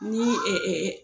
Ni ɛ ɛ ɛ